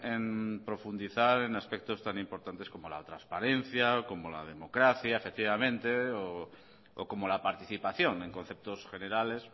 en profundizar en aspectos tan importantes como la transparencia como la democracia efectivamente o como la participación en conceptos generales